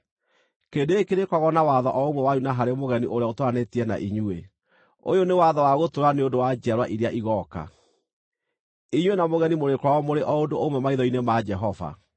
Kĩrĩndĩ gĩkĩ kĩrĩkoragwo na watho o ũmwe wanyu na harĩ mũgeni ũrĩa ũtũũranĩtie na inyuĩ; ũyũ nĩ watho wa gũtũũra nĩ ũndũ wa njiarwa iria igooka. Inyuĩ na mũgeni mũrĩkoragwo mũrĩ o ũndũ ũmwe maitho-inĩ ma Jehova.